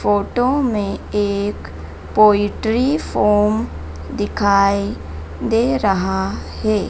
Photo में एक poetry form दिखाई दे रहा है।